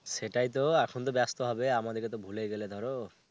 সেটাই তো. এখন তো ব্যস্ত হবে আমাদের তো ভুলেই গেলে ধরো.